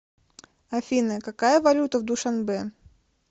афина какая валюта в душанбе